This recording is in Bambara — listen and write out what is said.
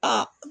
Aa